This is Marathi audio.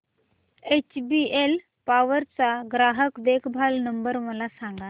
एचबीएल पॉवर चा ग्राहक देखभाल नंबर मला सांगा